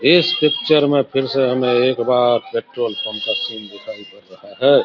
इस पिक्चर में फिर से हमें एक बार पॅट्रोल पंप का सिन दिखाई पर रहा है।